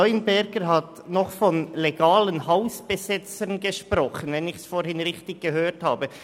Leuenberger hat noch von legalen Hausbesetzern gesprochen, falls ich ihn vorhin richtig verstanden habe.